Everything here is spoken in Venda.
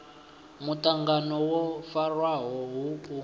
muṱangano wo farwaho hu u